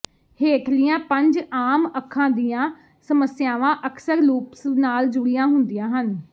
ਹੇਠਲੀਆਂ ਪੰਜ ਆਮ ਅੱਖਾਂ ਦੀਆਂ ਸਮੱਸਿਆਵਾਂ ਅਕਸਰ ਲੂਪਸ ਨਾਲ ਜੁੜੀਆਂ ਹੁੰਦੀਆਂ ਹਨ